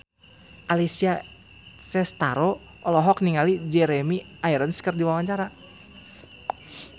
Alessia Cestaro olohok ningali Jeremy Irons keur diwawancara